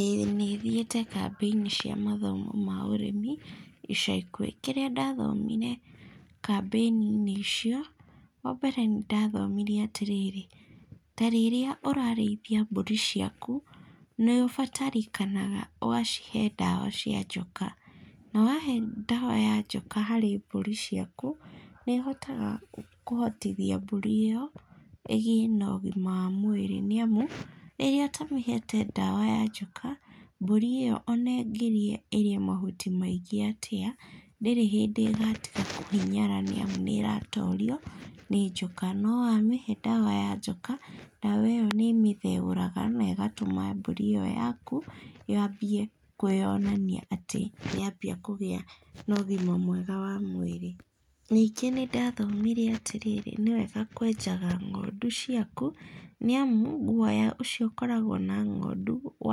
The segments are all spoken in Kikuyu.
ĩ, nĩ thiĩte kambĩ-ini cia mathomo ma ũrĩmi ica ikũhĩ. Kĩrĩa ndathomire kambĩ-inĩ icio, wa mbere nĩ ndathomire atĩ rĩrĩ, ta rĩrĩa ũrarĩithia mbũri ciaku, nĩ ũbatarĩkanaga ũgacihe ndawa cia njoka. Na wahe ndawa ya njoka harĩ mbũri ciaku, nĩ ĩhotaga kũhotithia mburi ĩyo ĩgĩe na ũgima wa mwĩrĩ nĩ amu, rĩrĩa ũtamĩhete ndawa ya njoka, mbũri ĩyo o na ĩngĩrĩa ĩrĩe mahuti maingĩ atĩa, ndĩrĩ hĩndĩ ĩgatiga kũhinyara, nĩ amu nĩ ĩratoorio nĩ njoka. No wa mĩhe ndawa ya njoka, ndawa ĩyo nĩ ĩmĩtheũraga na ĩgatũma mbũri ĩyo yaku yaambie kwĩonania atĩ nĩ yambia kũgĩa na ũgima mwega wa mwĩrĩ. Ningĩ nĩ ndathomire atĩ rĩrĩ, nĩ wega kũenjaga ng'ondu ciaku, nĩ amu, gũoya ũcio ũkoragwo na ng'ondu, o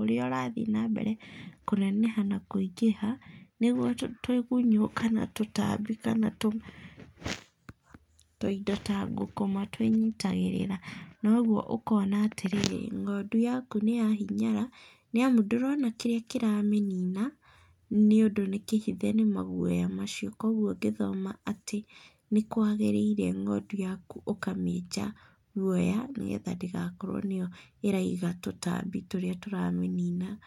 ũrĩa ũrathiĩ nambere kũneneha na kũingĩha, nĩguo tũgunyũ kana tũtambi kana tũindo ta ngũkũma tũĩnyitagĩrĩra. Na ũguo ũkona atĩ rĩrĩ, ng'ondu yaku nĩ ya hinyara nĩ amu, ndũrona kĩrĩa kĩramĩnina nĩũndũ nĩ kĩhithe nĩ maguoya macio. Koguo ngĩthoma atĩ nĩ kwagĩrĩire ng'ondu yaku ũkamĩenja guoya, nĩgetha ndĩgakorwo nĩ yo ĩraiga tũtambi tũrĩa tũramĩnina.